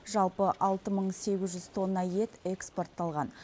жалпы алты мың сегіз жүз тонна ет экспортталған